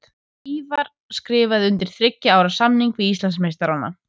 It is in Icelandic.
Ívar skrifaði undir þriggja ára samning við Íslandsmeistarana.